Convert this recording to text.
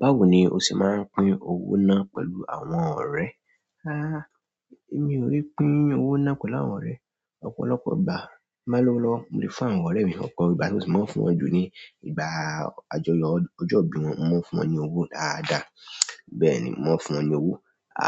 Báwo ni o ṣe ma pín owó náà pẹ̀lú àwọn ọ̀rẹ́? Èmi o pín owó náà pẹ̀lú àwọn ọ̀rẹ́. Ọ̀pọ̀lọpọ̀ ìgbà, tin bá lowo lọ́wọ́, mo lè fún àwọn ọ̀rẹ́ mi ọpọ̀ ìgbà tí mo bá fún wọn jù ni ìgbà àjọyọ̀ ọjọ́ ìbí wọn, mo máa ń fún wọn ní owó dáadáa. Bẹ́ẹ̀ ni, mo máa ń fún wọn ní owó.